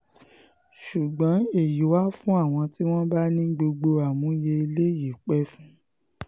ṣùgbọ́n èyí wà fún àwọn tí wọ́n bá ní gbogbo àmúyẹ́ i eléyìí pẹ́ fún